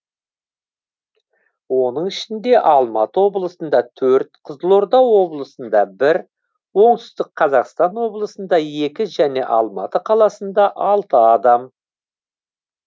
оның ішінде алматы облысында төрт қызылорда облысында бір оңтүстік қазақстан облысында екі және алматы қаласында алты адам